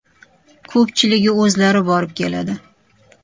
Ko‘pchiligi o‘zlari borib keladi.